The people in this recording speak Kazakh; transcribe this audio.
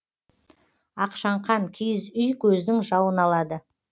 ақшаңқан киіз үй көздің жауын алады